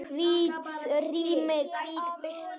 Hvítt rými, hvít birta.